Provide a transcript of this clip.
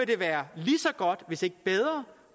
det være lige så godt hvis ikke bedre